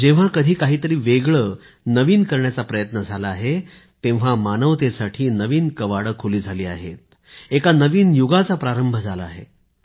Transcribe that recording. जेव्हा कधी काहीतरी वेगळं नवीन करण्याचा प्रयत्न झाला आहे मानवतेसाठी नवीन कवाडे खुली झाली आहेत एका नवीन युगाचा प्रारंभ झाला आहे